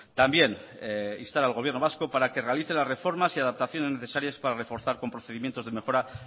también instar al gobierno vasco para que realice las reformas y adaptaciones necesarias para reforzar con procedimientos de mejora